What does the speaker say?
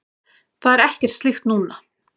Það er ekkert slíkt núna.